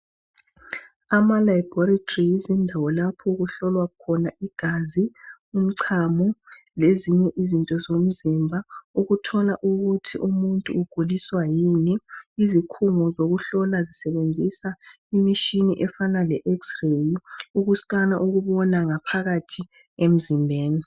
Amalaboratories zindawo lapho okuhlolwa khona igazi, umchamo lezinye izinto zomzimba ukuthola ukuthi umuntu uguliswa yini izikhungo zokuhlola zisebenzisa imitshini efana lexray ukuscanner ukubona ngaphakathi emzimbeni.